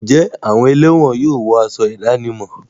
Ǹjẹ́ àwọn ẹlẹ́wọ̀n yóò wọ aṣọ ìdánimọ̀?